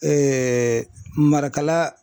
Marakala